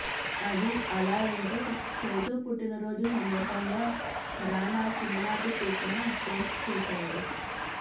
అది అలా ఉంటే చైతూ పుట్టిన రోజు సందర్బంగా రానా చిన్ననాటి పిక్ను పోస్ట్ చేశాడు